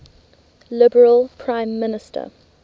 liberal prime minister